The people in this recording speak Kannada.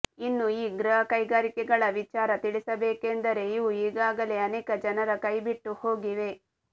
ಇನ್ನು ಈ ಗೃಹಕೈಗಾರಿಕೆಗಳ ವಿಚಾರ ತಿಳಿಸಬೇಕೆಂದರೆ ಇವು ಈಗಾಗಲೇ ಅನೇಕ ಜನರ ಕೈಬಿಟ್ಟು ಹೋಗಿವೆ